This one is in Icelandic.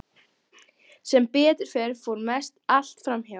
Sem betur fer fór mest allt fram hjá.